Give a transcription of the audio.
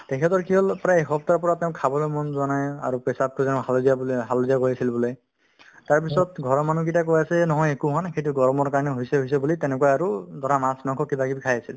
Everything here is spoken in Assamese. তেখেতৰ কি হ'ল প্ৰায় এসপ্তাহৰ পৰা তেওঁৰ খাবলৈ মন যোৱা নাই আৰু পেচাবতো জানো হালধীয়া বোলে হালধীয়া পৰিছিল বোলে তাৰপিছত ঘৰৰ মানুহ কেইটাই কৈ আছে নহয় একো হোৱা নাই সেইটো গৰমৰ কাৰণে হৈছে হৈছে বুলি তেনেকুৱা আৰু ধৰা মাছ-মাংস কিবাকিবি খাই আছিল